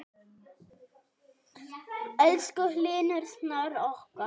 Elsku Hlynur Snær okkar.